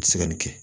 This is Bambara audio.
tɛ se ka nin kɛ